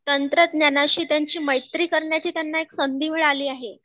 तंत्रज्ञानाशी त्यांची मैत्री करण्याची त्यांना एक संधी मिळाली आहे